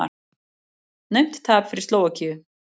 Naumt tap fyrir Slóvakíu